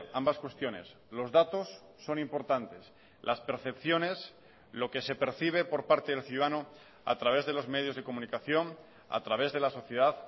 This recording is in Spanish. ambas cuestiones los datos son importantes las percepciones lo que se percibe por parte del ciudadano a través de los medios de comunicación a través de la sociedad